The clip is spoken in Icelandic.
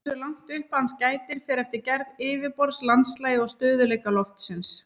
Hversu langt upp hans gætir fer eftir gerð yfirborðs, landslagi og stöðugleika lofsins.